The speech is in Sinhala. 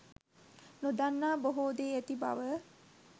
නොදන්නා බොහෝ දේ ඇති බව